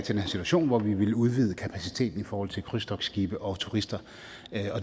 situation hvor vi vil udvide kapaciteten i forhold til krydstogtskibe og turister